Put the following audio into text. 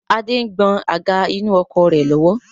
Adé ń gbọn àga inú ọkọ̀ rẹ nù lọ́wọ́